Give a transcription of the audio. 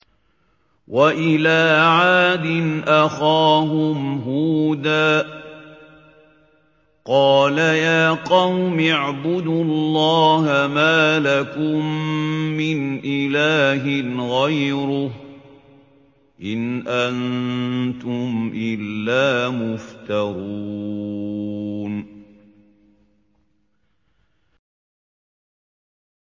وَإِلَىٰ عَادٍ أَخَاهُمْ هُودًا ۚ قَالَ يَا قَوْمِ اعْبُدُوا اللَّهَ مَا لَكُم مِّنْ إِلَٰهٍ غَيْرُهُ ۖ إِنْ أَنتُمْ إِلَّا مُفْتَرُونَ